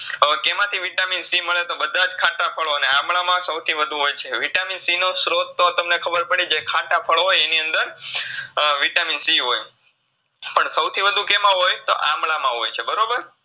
અ કેમાંથી Vitamin C મળે તો બધાજ ખાટા ફાળો ને આમળામા સવથી વધુ હોય છે. Vitamin C નો સ્ત્રોત તો તમને ખબર પડી જય ખાટા ફળ હોય એનીઅંદર અ Vitamin C હોય, પણ સવથી વધુ કેમાં હોય? તો આમળામાં ગોય બરોબર